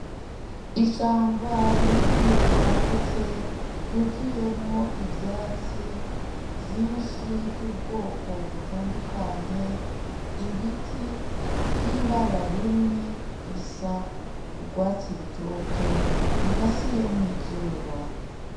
Ishamba rinini ryagutse ryuzuyemo ivyatsi vyinshi vy'ubwoko, butandukanye ibiti vy’ibara rimwe risa urwatsi rutoto rirasiyemo izuba.